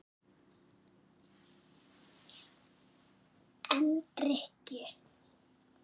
En drykkju